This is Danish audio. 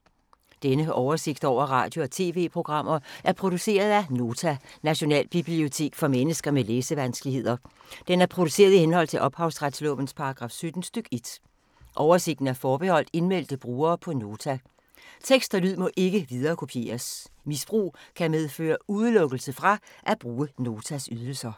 Denne oversigt over radio og TV-programmer er produceret af Nota, Nationalbibliotek for mennesker med læsevanskeligheder. Den er produceret i henhold til ophavsretslovens paragraf 17 stk. 1. Oversigten er forbeholdt indmeldte brugere på Nota. Tekst og lyd må ikke viderekopieres. Misbrug kan medføre udelukkelse fra at bruge Notas ydelser.